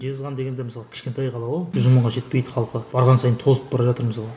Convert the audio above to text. жезқазған деген де мысалы кішкентай қала ғой жүз мыңға жетпейді халқы барған сайын тозып бара жатыр мысалға